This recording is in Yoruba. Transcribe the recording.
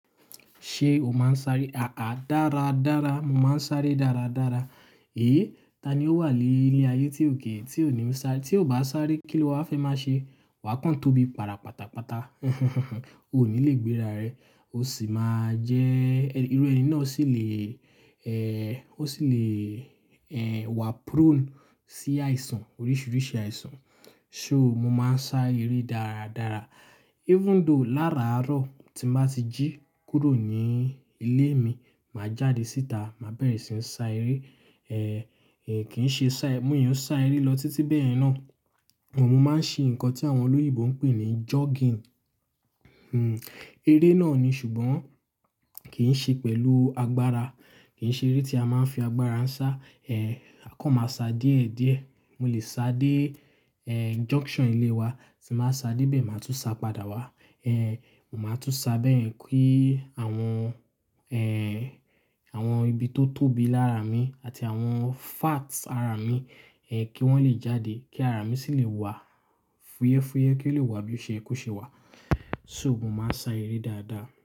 Ṣé o máa ń sáré? Àá dára dára, mo máa ń sáré dára dára. Hé! Ta ni ó wà ní ilé ayé tí ò kíi tí ò níi sáré? Tí o bá sáré kí ló wa fẹ́ máa ṣe? Wà á kán tóbi, para pátápátá. O ò ní lè gbéra rẹ, o sì máa jẹ-- irú ẹni náà sì lè, ẹ́, o sì lè, ẹ́, wà prone sí àìsàn, oríṣiiríṣii àìsàn. So mo máa ń sá eré dára dára. Even though láraàárọ̀ tí mo bá ti jí kúrò ní ilé mi, màá jáde síta, màá bẹ̀rẹ̀ sí ńi sá eré. Ẹ̀, kì ń ṣe sá-- mo i sá eré lọ títí bẹ́ẹ̀ náà. But, mo máa ń ṣe nǹkan tí àwọn olóyinbó ń pè ní jogging. Hmm, eré náà ni ṣùgbọ́n kì ń ṣe pẹ̀lú agbára. Kì ń ṣe eré tí a máa ń fi agbára ń sá. Ẹ̀, a kàn máa sá díẹ̀ ẹ́ díẹ̀. Mo lè sá dé, ẹ́, junction ilé wa, tí n bá sá dé ibẹ̀, màá tún sá padà wá. Ẹ̀, mo máa tún sá bẹ́yẹ̀n kí àwọn, ẹ́, àwọn ibi tó tóbi lára mi àti àwọn fats ara mi, ẹ́, kí wọ́n lè jáde, kí ara mi sì lè wà fúyẹ́fúyẹ́, kí ó lè wà bí o ṣẹ́ ye koṣe wà. So mo máa ń sá eré dáadáa.